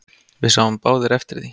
Við sáum báðir eftir því.